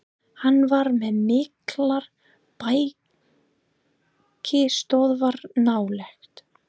Hann var með miklar bækistöðvar nálægt